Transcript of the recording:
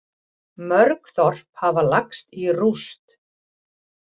Mörg þorp hafa lagst í rúst